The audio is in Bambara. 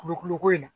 Kulukoro ko in na